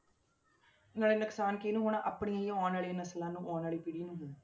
ਨਾਲੇ ਨੁਕਸਾਨ ਕਿਹਨੂੰ ਹੋਣਾ ਆਪਣੀ ਹੀ ਆਉਣ ਵਾਲੀਆਂ ਨਸ਼ਲਾਂ ਨੂੰ ਆਉਣ ਵਾਲੀ ਪੀੜ੍ਹੀ ਨੂੰ ਹੋਣਾ।